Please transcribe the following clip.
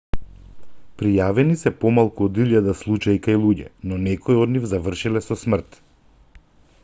пријавени се помалку од илјада случаи кај луѓе но некои од нив завршиле со смрт